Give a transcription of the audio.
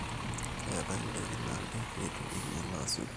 keetae ndaiki naabik eitu einyala asioki